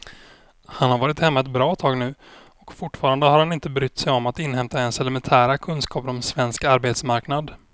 Han har varit hemma ett bra tag nu och fortfarande har han inte brytt sig om att inhämta ens elementära kunskaper om svensk arbetsmarknad.